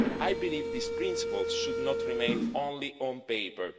I believe this principle should not remain only on paper.